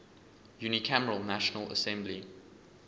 unicameral national assembly